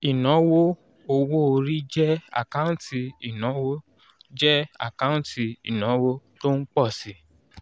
ìnáwó owó orí jẹ́ àkáǹtì ìnáwó jẹ́ àkáǹtì ìnáwó tó ń pọ̀ si